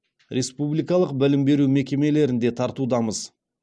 республикалық білім беру мекемелерін де тартудамыз